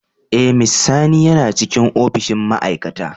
Eh, mr sani yana cikin opishin ma'aikata.